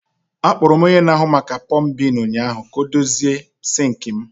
Akpọrọ m onye na-ahụ maka pọmbin ụnyaahụ ka m dozie sinki m.